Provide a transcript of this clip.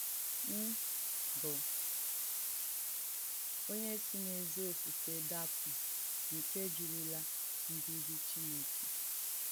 ‘M̀ bù onyè sì n’èzí òfùfè dàpù nké jùrùlà ǹdùzì Chìnèkè?’